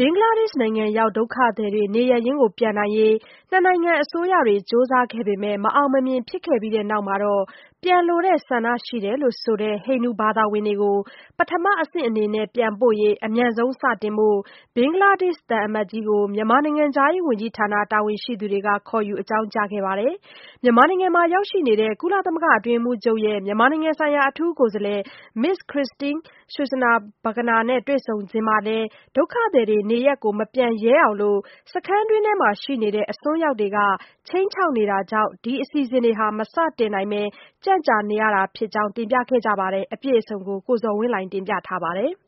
ဘင်္ဂလားဒေ့ရှ်နိုင်ငံဘက်ရောက်နေကြတဲ့ ဒုက္ခသည်တွေ နေရပ်ပြန်နိုင်ရေး နှစ်နိုင်ငံအစိုးရတွေ အကြိမ်ကြိမ် ကြိုးစားခဲ့ပေမယ့် မအောင်မမြင် ဖြစ်ခဲ့ပြီးတဲ့နောက် ဒုက္ခသည်အတွင်းမှာရောက်နေပြီး ပြန်လိုတဲ့ဆန္ဒရှိကြောင်း ပြောဆိုထားကြတဲ့ ဟိန္ဒူဘာသာဝင်တွေကို ပထမအဆင့်အနေနဲ့ ပြန်ပို့မယ့်အစီအစဉ်တွေ အမြန်ဆုံးစတင်နိုင်ဖို့ မြန်မာနိုင်ငံဆိုင်ရာ ဘင်္ဂလားဒေ့ရှ်သံအမတ်ကြီးကို မြန်မာနိုင်ငံခြားရေးဝန်ကြီးဌာန တာဝန်ရှိသူတွေက ခေါ်ယူ အကြောင်းကြားခဲ့ပါတယ်။ မြန်မာနိုင်ငံမှာ ရောက်နေတဲ့ ကုလသမဂ္ဂ အတွင်းရေးမှူးချုပ်ရဲ့ မြန်မာနိုင်ငံဆိုင်ရာ အထူးကိုယ်စားလှယ် Ms. Christine Schraner Burgener နဲ့ တွေ့ဆုံစဉ်မှာလည်း ဒုက္ခသည်တွေ နေရပ်မပြန်ရဲအောင် စခန်းအတွင်းမှာရှိတဲ့ အစွန်းရောက်တွေက ခြိမ်းချောက် ပြောဆိုနေတာတွေ ရှိတဲ့အတွက် ဒုက္ခသည်တွေက မပြန်ရဲဘဲ နေရပ်ပြန်မယ့် အစီအစဉ်တွေ မစတင်နိုင်ဘဲ အခုလို နှောင့်နှေး ကြန့်ကြာနေရတယ်ဆိုတာကို တင်ပြခဲ့ကြပါတယ်။ အပြည့်အစုံကိုတော့ ကိုဇော်ဝင်းလှိုင်က တင်ပြပေးပါမယ်။